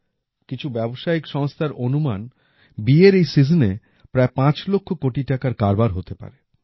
কিছু ব্যবসায়িক সংস্থার অনুমান বিয়ের এই Seasonএ প্রায় পাঁচ লক্ষ কোটি টাকার কারবার হতে পারে